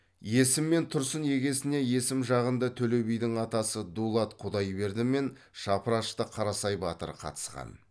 есім мен тұрсын егесіне есім жағында төле бидің атасы дулат құдайберді мен шапырашты қарасай батыр қатысқан